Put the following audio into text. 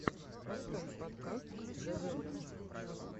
поставь подкаст зе вэмпс